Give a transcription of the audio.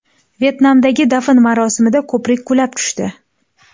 Vyetnamdagi dafn marosimida ko‘prik qulab tushdi.